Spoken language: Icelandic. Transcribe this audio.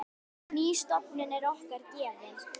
Ný stofnun er okkur gefin.